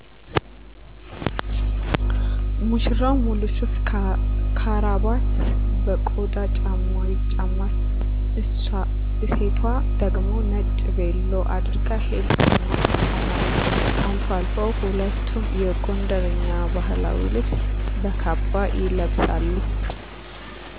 ሙሽራው ሙሉ ሱፍ ከራባት በቆዳ ጫማ ይጫማል እሴቷ ደግሞ ነጭ ፔሎ አድርጋ ሂል ጫማ ትጫማለች አልፎ አልፎ ሁለቱም የጎንደረኛ ባህላዊ ልብስ በካባ ይለብሳሉ።